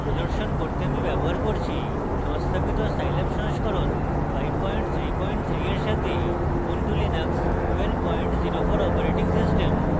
প্রদর্শন করতে আমি ব্যবহার করছি সংস্থাপিত scilab সংস্করণ 533 for সাথে ubuntu linux 1204 operating system